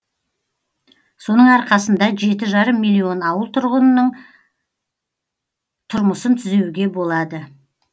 соның арқасында жеті жарым миллион ауыл тұрғынының тұрмысын түзеуге болады